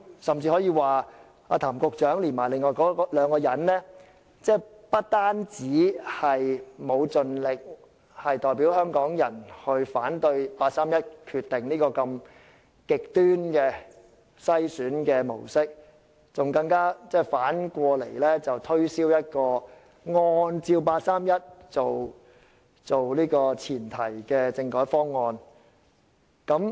甚至可以說，譚局長和另外兩人不單沒有盡力代表香港人反對八三一決定這種如此極端的篩選模式，還要反過來推銷一個以八三一決定為前提的政改方案。